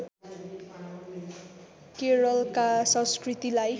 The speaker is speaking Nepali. केरलका संस्कृतिलाई